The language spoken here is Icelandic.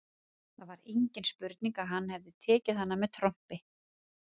Það var engin spurning að hann hafði tekið hana með trompi.